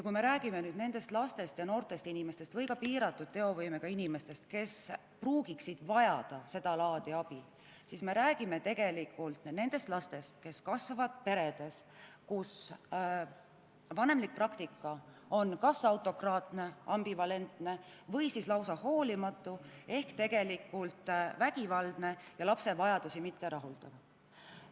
Kui me räägime lastest ja noortest või ka piiratud teovõimega inimestest, kes võiksid sedalaadi abi vajada, siis tegelikult me räägime nendest lastest, kes kasvavad peredes, kus vanemlik praktika on kas autokraatne, ambivalentne või lausa hoolimatu ehk vägivaldne ja lapse vajadusi mitterahuldav.